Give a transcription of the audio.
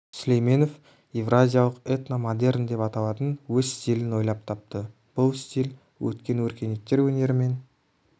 сүлейменов еуразиялық этно-модерн деп аталатын өз стилін ойлап тапты бұл стиль өткен өркениеттер өнері мен